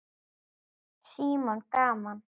Símon: Gaman?